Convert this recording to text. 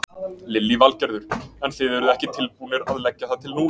Lillý Valgerður: En þið eruð ekki tilbúnir að leggja það til núna?